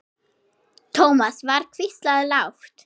Thomas var hvíslað lágt.